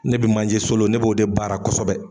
Ne bi manje solo ne b'o de baara kɔsɔbɛ.